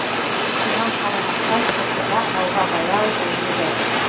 соған қарамастан оқиға алға баяу жылжиды